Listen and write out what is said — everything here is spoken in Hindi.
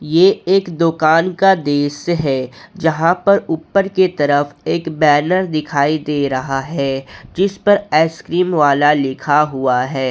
ये एक दुकान का दृश्य है जहां पर ऊपर की तरफ एक बैनर दिखाई दे रहा है जिस पर आइसक्रीम वाला लिखा हुआ है।